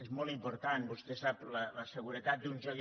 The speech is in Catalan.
és molt important vostè ho sap la seguretat d’uns jocs